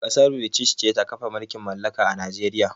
Kassar British ce ta kafa mulƙin mallaƙa a Najeriƴa.